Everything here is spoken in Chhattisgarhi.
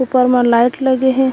ऊपर म लाइट लगे हे।